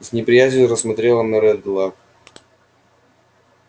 и с неприязнью смотрела на реддла